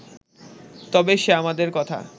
তবে সে আমাদের কথা